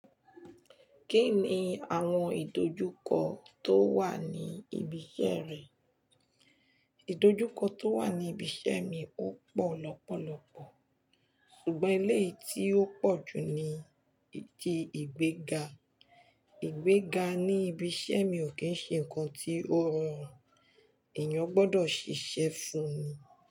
Kí ni àwọn ìdojúkọ tó wà ní ibi iṣẹ́ rẹ? Ìdojúkọ tó wà ní ibi iṣẹ́ mi ó pọ̀ lọ́pọ̀lọpọ̀, ṣùgbọ́n ilé tí ó pọ̀ jù ni ti ìgbéga. Ìgbéga ní ibi iṣẹ́ mi ò kí ń ṣe nǹkan tí ó rọrùn, èèyàn gbọdọ̀ ṣiṣẹ́ fún ni.